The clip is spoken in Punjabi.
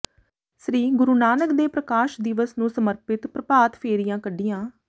ਸ੍ਰੀ ਗੁਰੂ ਨਾਨਕ ਦੇ ਪ੍ਰਕਾਸ਼ ਦਿਵਸ ਨੂੰ ਸਮਰਪਿਤ ਪ੍ਰਭਾਤ ਫੇਰੀਆਂ ਕੱਢੀਆਂ